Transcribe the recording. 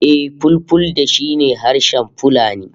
Eh, Fulfulde shi ne harshen Fulani